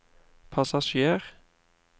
passasjer